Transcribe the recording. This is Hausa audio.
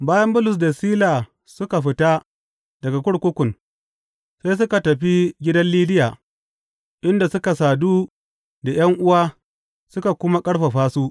Bayan Bulus da Sila suka fita daga kurkukun, sai suka tafi gidan Lidiya, inda suka sadu da ’yan’uwa suka kuma ƙarfafa su.